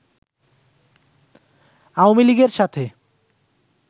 আওয়ামী লীগের সাথে